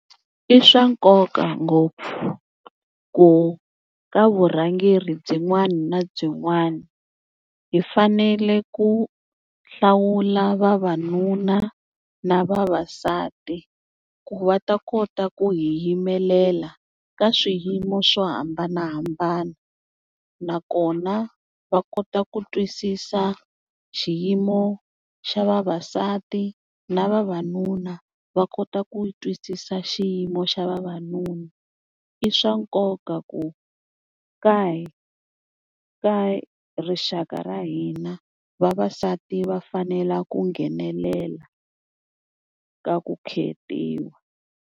I swa nkoka ngopfu ku ka vurhangeri byin'wana na byin'wana hi fanele ku hlawula vavanuna na vavasati, ku va ta kota ku hi yimelela ka swiyimo swo hambanahambana. Nakona va kota ku twisisa xiyimo xa vavasati na vavanuna va kota ku twisisa xiyimo xa vavanuna. I swa nkoka ku ka ka rixaka ra hina vavasati va fanela ku nghenelela ka ku khetiwa.